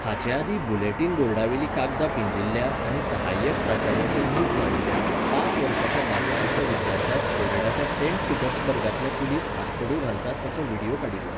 हाचे आदीं बुलेटिन बोर्डावेलीं कागदां पिंजिल्ल्या आनी सहाय्यक प्राचार्याचेर मूठ मारिल्ल्या, पांच वर्सांच्या बालवाडीच्या विद्यार्थ्याक फ्लोरिडाच्या सेंट पीटर्सबर्गांतले पुलीस हातकडयो घालतात ताचो व्हिडियो काडिल्लो.